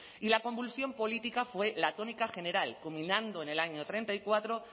y la convulsión política fue la tónica general combinando en el año treinta y cuatro